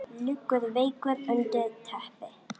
Liggur veikur undir teppi.